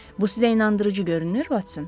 Bu sizə inandırıcı görünür, Votson?